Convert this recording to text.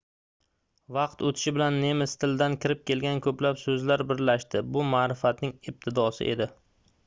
vaqt oʻtishi bilan nemis tilidan kirib kelgan koʻplab soʻzlar birlashdi bu maʼrifatning ibtidosi edi